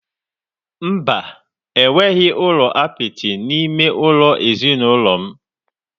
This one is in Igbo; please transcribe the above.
Mba, enweghị ụlọ apịtị n'ime ụlọ ezinụlọ m.